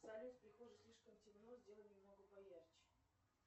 салют в прихожей слишком темно сделай немного поярче